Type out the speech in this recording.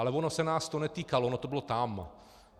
Ale ono se nás to netýkalo, ono to bylo tam.